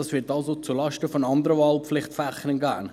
dies wird also zulasten von anderen Wahlpflichtfächern gehen.